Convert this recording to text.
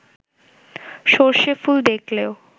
সর্ষে ফুল দেখলেও